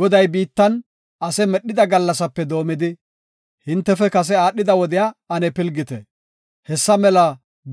Goday biittan ase medhida gallasape doomidi, hintefe kase aadhida wodiya ane pilgite; hessa mela